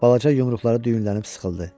Balaca yumruqları düyünlənib sıxıldı.